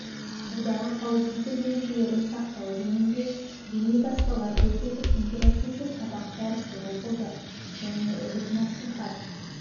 судағы қауіпсіздік ережелерін сақтау жөнінде бейнетаспалар көрсетіп интерактивті сабақ дәрістер оқылды және үгіт насихат